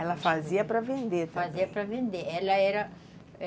Ela fazia para vender também. Ela fazia para vender, ela era